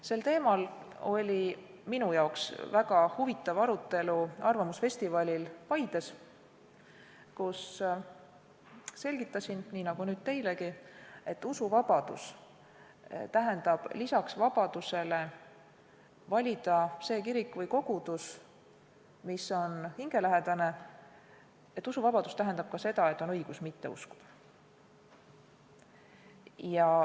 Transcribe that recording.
Sel teemal oli väga huvitav arutelu arvamusfestivalil Paides, kus ma selgitasin, nii nagu nüüd teilegi, et usuvabadus tähendab lisaks vabadusele valida hingelähedane kirik või kogudus ka õigust mitte uskuda.